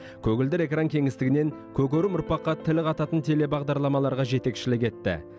көгілдір экран кеңістігінен көкөрім ұрпаққа тіл қататын телебағдарламаларға жетекішілік етті